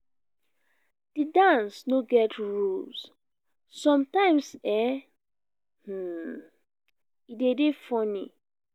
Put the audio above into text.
di dance no get rules sometimes e um de dey funny